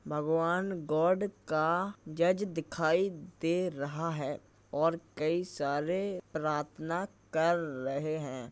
भगवान गॉड का जज दिखाई दे रहा है और कई सारे प्रार्थना कर रहे हैं।